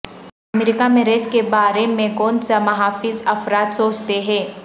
امریکہ میں ریس کے بارے میں کونسا محافظ افراد سوچتے ہیں